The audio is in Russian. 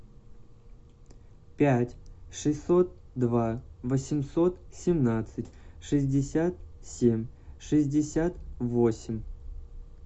пять шестьсот два восемьсот семнадцать шестьдесят семь шестьдесят восемь